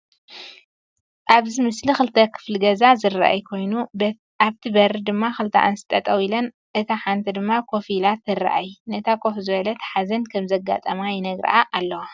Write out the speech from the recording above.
ኣብዚ ምስሊ ክልተ ክፍሊ ገዛ ዝረአይ ኮይኑ ኣብቲ በሪ ድማ ክልተ ኣንስቲ ጠጠው ኢለን እታ ሓንቲ ድማ ኮፍ ኢላ ትረአይ። ነታኮፍ ዝበለት ሓዘን ከም ዘጋጠማ ይነግረኣ ኣለዋ